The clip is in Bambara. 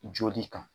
Joli kan